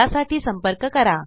त्यासाठी संपर्क करा